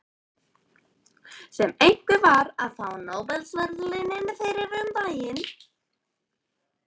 Sem einhver var að fá Nóbelsverðlaunin fyrir um daginn.